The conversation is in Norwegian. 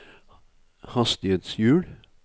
hastighetshjul